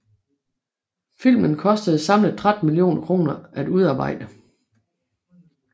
Filmen kostede samlet 13 millioner kroner at udarbejde